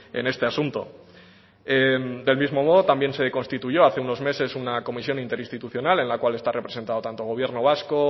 en este asunto del mismo modo también se constituyó hace unos meses una comisión interinstitucional en la cual está representado tanto gobierno vasco